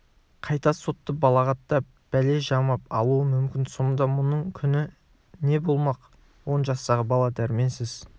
қайта сотты балағаттап бәле жамап алуы мүмкін сонда мұның күні не болмақ он жастағы бала дәрменсіз